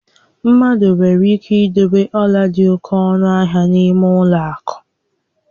Mmadụ nwere ike idobe ọla dị oke ọnụ ahia n'ime ụlọ akụ